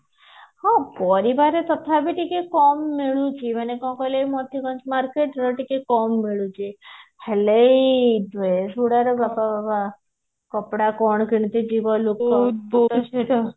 ହଁ ପରିବା ରେ ତଥାପି ଟିକେ କମ ମିଳୁଛି ମାନେ କଣ କହିଲ ଏଇ ମୋତିଗଞ୍ଜ market ରେ ଟିକେ କମ ମିଳୁଛି ହେଲେ ଏଇ ଭିଡରେ କପଡା କଣ କିଣିତେ ଯିବ ଲୋକ